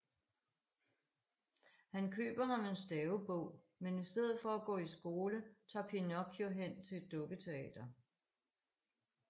Han køber ham en stavebog men i stedet for at gå i skole tager Pinocchio hen til et dukketeater